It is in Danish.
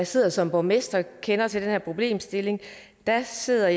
sidder som borgmester og kender til den her problemstilling jeg sidder